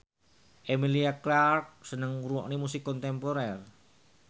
Emilia Clarke seneng ngrungokne musik kontemporer